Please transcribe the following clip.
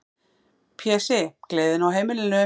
Pési, gleðin á heimilinu.